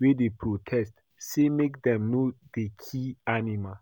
wey dey protest say make dem no dey kill animals